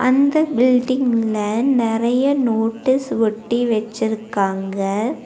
அந்த பில்டிங் ல நெறைய நோட்டீஸ் ஒட்டி வெச்சிருக்காங்க.